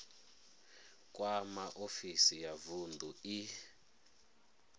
kwama ofisi ya vunḓu i